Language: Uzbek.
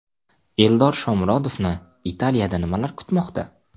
Eldor Shomurodovni Italiyada nimalar kutmoqda?